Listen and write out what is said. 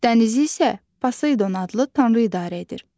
Dənizi isə Poseydon adlı tanrı idarə edir.